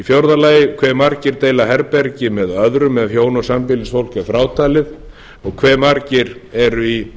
fjórði hve margir deila herbergi með öðrum ef hjón eða sambýlisfólk er frátalið og hve margir eru í